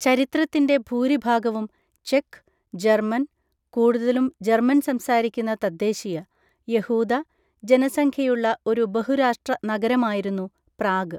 ചരിത്രത്തിന്‍റെ ഭൂരിഭാഗവും, ചെക്ക്, ജർമ്മൻ, (കൂടുതലും ജർമ്മൻ സംസാരിക്കുന്ന തദ്ദേശീയ) യഹൂദ ജനസംഖ്യയുള്ള ഒരു ബഹുരാഷ്ട്ര നഗരമായിരുന്നു പ്രാഗ്.